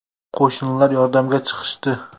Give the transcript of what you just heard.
Qo‘shnilar yordamga chiqishdi.